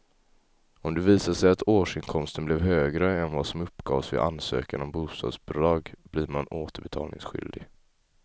Om det visar sig att årsinkomsten blev högre än vad som uppgavs vid ansökan om bostadsbidrag blir man återbetalningsskyldig.